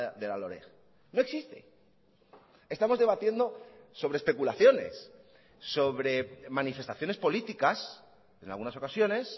de la loreg no existe estamos debatiendo sobre especulaciones sobre manifestaciones políticas en algunas ocasiones